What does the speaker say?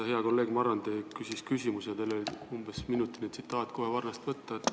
Hea kolleeg Marrandi küsis küsimuse ja teil oli umbes minutiline tsitaat kohe varnast võtta.